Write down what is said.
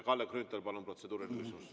Kalle Grünthal, palun, protseduuriline küsimus!